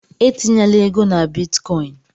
Etinyela ego na Bitcoin!